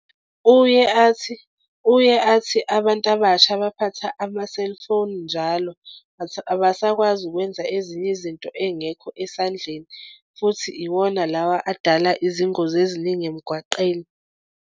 Uye athi uye athi abantu abasha baphatha ama-cellphone njalo abasakwazi ukwenza ezinye izinto engekho esandleni futhi iwona lawa adala izingozi eziningi emgwaqeni.